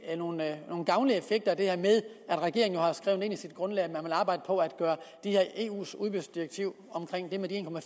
nogle gavnlige effekter af at regeringen jo har skrevet ind i sit grundlag at den vil arbejde på at gøre det her eus udbudsdirektiv